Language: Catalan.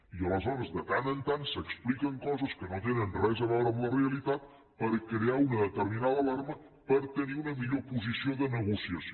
i aleshores de tant en tant s’expliquen coses que no tenen res a veure amb la realitat per crear una determinada alarma per tenir una millor posició de negociació